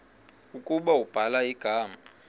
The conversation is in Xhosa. ukuba ubhala igama